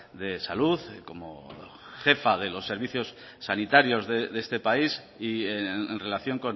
de salud como jefa de los servicios sanitarios de este país y en relación